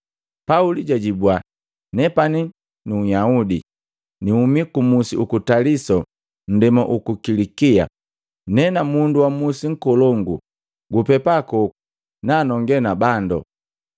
Pauli jajibua, “Nepani nu Nhyahude, nihumi ku Musi uku Taliso nndema uku Kilikia, nena mundu wa musi nkolongo. Gupepakoku, nanonge na bando.”